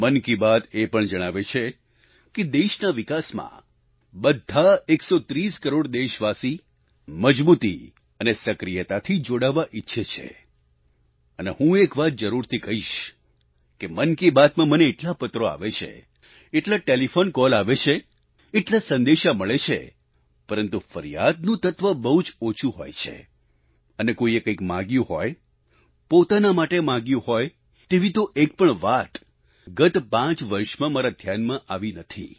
મન કી બાત એ પણ જણાવે છે કે દેશના વિકાસમાં બધા 130 કરોડ દેશવાસી મજબૂતી અને સક્રિયતાથી જોડાવા ઈચ્છે છે અને હું એક વાત જરૂરથી કહીશ કે મન કી બાતમાં મને એટલા પત્રો આવે છે એટલા ટેલિફોન કોલ આવે છે એટલા સંદેશા મળે છે પરંતુ ફરિયાદનું તત્વ બહુ જ ઓછું હોય છે અને કોઈએ કંઈક માંગ્યું હોય પોતાના માટે માંગ્યું હોય તેવી તો એક પણ વાત ગત પાંચ વર્ષમાં મારા ધ્યાનમાં આવી નથી